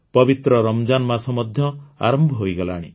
ପବିତ୍ର ରମଜାନ୍ ମାସ ମଧ୍ୟ ଆରମ୍ଭ ହୋଇଗଲାଣି